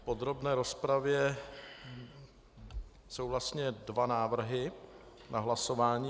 V podrobné rozpravě jsou vlastně dva návrhy na hlasování.